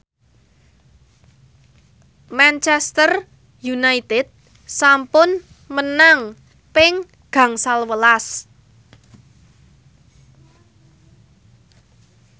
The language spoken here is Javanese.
Manchester united sampun menang ping gangsal welas